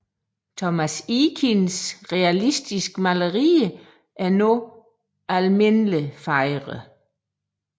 Thomas Eakins realistiske malerier er nu almindeligt fejret